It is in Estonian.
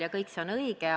See kõik on õige.